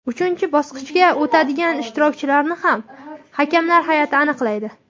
Uchinchi bosqichga o‘tadigan ishtirokchilarni ham hakamlar hay’ati aniqlaydi.